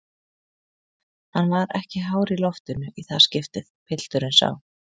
Hann var ekki hár í loftinu í það skiptið, pilturinn sá.